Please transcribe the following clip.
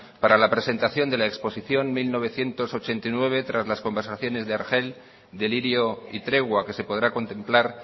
para la presentación de la exposición mil novecientos ochenta y nueve tras las conversaciones de argel delirio y tregua que se podrá contemplar